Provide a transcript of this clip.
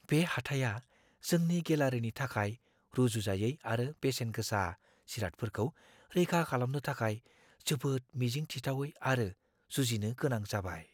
बे हाथाया जोंनि गेलारिनि थाखाय रुजुजायै आरो बेसेन-गोसा जिरादफोरखौ रैखा खालामनो थाखाय जोबोद मिजिं थिथावै आरो जुजिनो गोनां जाबाय।